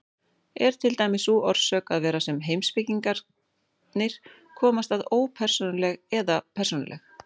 Er til dæmis sú orsök eða vera sem heimspekingarnir komast að ópersónuleg eða persónuleg?